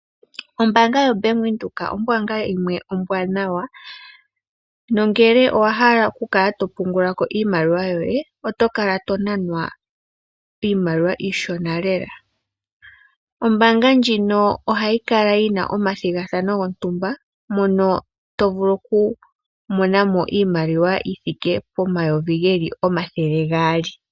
Ombaanga yo Bank Windhoek ombaanga yimwe ombwaanawa no ngele owa hala okukala to pungula ko iimaliwa yoye, oto kala to nanwa iimaliwa iishona lela. Ombaanga ndjino ohayi kala yi na omathigathano gontumba mono to vulu okumona mo iimaliwa yi thike pomayovi geli omathele gaali.